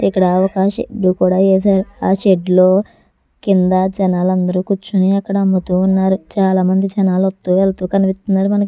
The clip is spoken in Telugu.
ఇక్కడ ఒక షెడ్డు అ షెడ్డు లో కింద జనాలు అందరూ కూర్చొని ఇక్కడ అమ్ముతున్నారు చాలామంది జనాలు వస్తూ వెళ్తూ కనిపిస్తున్నారు మనకి.